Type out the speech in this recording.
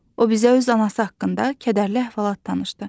O bizə öz anası haqqında kədərli əhvalat danışdı.